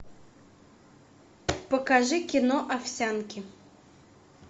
покажи кино овсянки